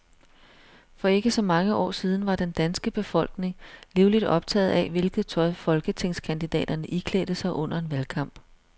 For ikke så mange år siden var den danske befolkning livligt optaget af, hvilket tøj folketingskandidaterne iklædte sig under en valgkamp.